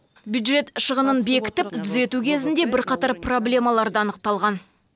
бюджет шығынын бекітіп түзету кезінде бірқатар проблемалар да анықталған